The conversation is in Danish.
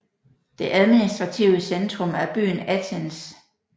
Det administrative centrum er byen Athens